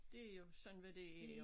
Det jo sådan hvad det er jo